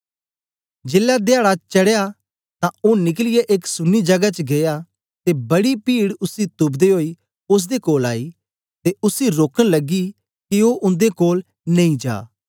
जेलै धयाडा चडया तां ओ निकलियै एक सुन्नी जगह च गीया ते बड़ी पीड उसी तुपदे ओई ओसदे कोल आई ते उसी रोकन लगी के ओ उन्दे कोल नेई जा